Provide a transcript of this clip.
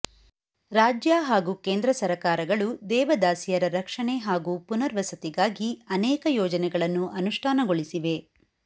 ರಾಜ್ಯ ಹಾಗೂ ಕೇಂದ್ರ ಸರಕಾರಗಳು ದೇವದಾಸಿಯರ ರಕ್ಷಣೆ ಹಾಗೂ ಪುನರ್ವಸತಿಗಾಗಿ ಅನೇಕ ಯೋಜನೆಗಳನ್ನು ಅನುಷ್ಠಾನಗೊಳಿಸಿವೆ